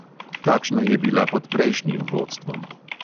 Takšna je bila pod prejšnjim vodstvom.